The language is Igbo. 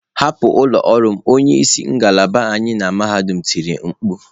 Hapụ ụlọ ọrụ m, onye isi ngalaba anyị na mahadum tiri mkpu.